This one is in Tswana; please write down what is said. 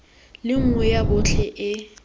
le nngwe ya botlhe e